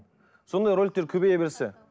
сондай роликтер көбейе берсе